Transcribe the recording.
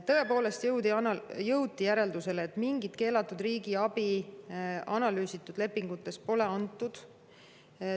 Tõepoolest jõuti seal järeldusele, et mingit keelatud riigiabi analüüsitud lepingute puhul pole antud.